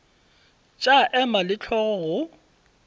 tša ema le hlogo go